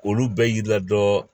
Olu bɛɛ y'i la dɔ